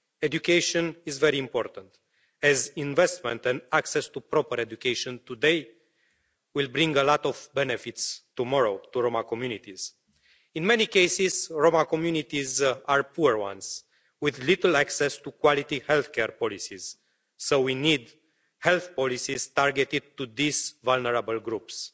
Education is very important as investment and access to proper education today will bring a lot of benefits tomorrow to Roma communities. In many cases, Roma communities are poor ones, with little access to quality healthcare policies, so we need health policies targeted to these vulnerable groups.